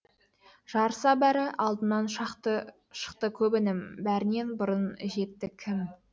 жарыса бәрі алдымнан шықты көп інім бәрінен бұрын жетті кім